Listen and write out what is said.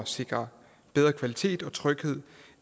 sikre bedre kvalitet og tryghed